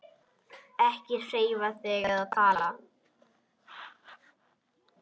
Ekki hreyfa þig eða tala.